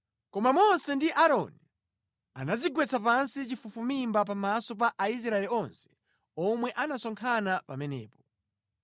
Koma Mose ndi Aaroni anadzigwetsa pansi chafufumimba pamaso pa Aisraeli onse omwe anasonkhana pamenepo.